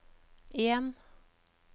en